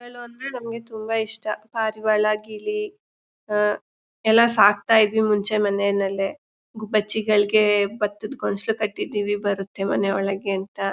ಅಂದ್ರೆ ನಮ್ಗೆ ತುಂಬಾ ಇಷ್ಟ ಪಾರಿವಾಳ ಗಿಳಿ ಆ ಎಲ್ಲ ಸಾಕ್ತಾ ಇದ್ವಿ ನಾವು ಮುಂಚೆ ಮನೆನಲ್ಲಿ ಗುಬ್ಬಚ್ಚಿಗಳಿಗೆ ಬತ್ತದ ಗೊಂಚಲು ಕಟ್ಟಿದ್ದೀವಿ ಬರುತ್ತೆ ಮನೆ ಒಳಗೆ ಅಂತ.